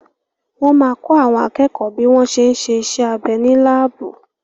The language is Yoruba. Wọ́n ma kọ́ àwọn akẹ́kọ̀ọ́ bí wọ́n ṣé ń ṣe iṣẹ́ abẹ́ ní láàbù